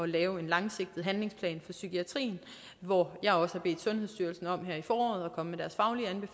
lave en langsigtet handlingsplan for psykiatrien hvor jeg også har bedt sundhedsstyrelsen om her i foråret at komme